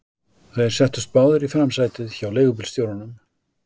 Þeir settust báðir í framsætið hjá leigubílstjóranum.